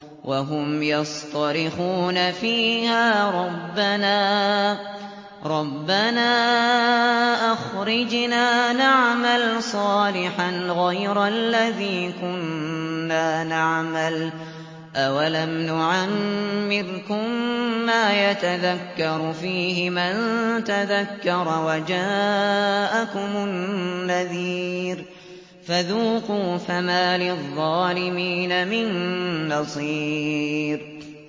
وَهُمْ يَصْطَرِخُونَ فِيهَا رَبَّنَا أَخْرِجْنَا نَعْمَلْ صَالِحًا غَيْرَ الَّذِي كُنَّا نَعْمَلُ ۚ أَوَلَمْ نُعَمِّرْكُم مَّا يَتَذَكَّرُ فِيهِ مَن تَذَكَّرَ وَجَاءَكُمُ النَّذِيرُ ۖ فَذُوقُوا فَمَا لِلظَّالِمِينَ مِن نَّصِيرٍ